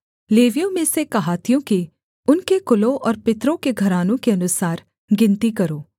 लेवियों में से कहातियों की उनके कुलों और पितरों के घरानों के अनुसार गिनती करो